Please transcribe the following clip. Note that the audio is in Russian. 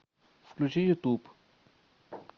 включи ютуб